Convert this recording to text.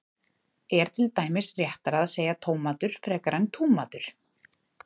er til dæmis réttara að segja tómatur frekar en túmatur